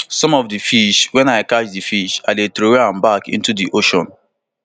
some of di fish wen i catch di fish i dey throway am back into di fish